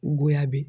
Goya be